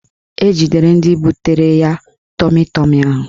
Ejidere ndị butere ya tọmi tọmi ahụ